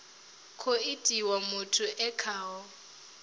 khou itiwa muthu e khaho